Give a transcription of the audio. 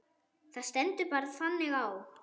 Það stendur bara þannig á.